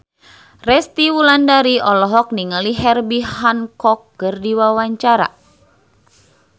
Resty Wulandari olohok ningali Herbie Hancock keur diwawancara